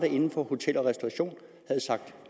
inden for hotel og restauration havde sagt